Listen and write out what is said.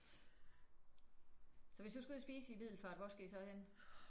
Så hvis du skal ud og spise i Middelfart hvor skal I så hen?